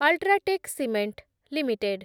UltraTech cement limited